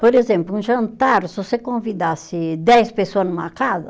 Por exemplo, um jantar, se você convidasse dez pessoa numa casa,